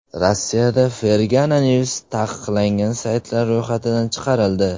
Rossiyada Fergana News taqiqlangan saytlar ro‘yxatidan chiqarildi.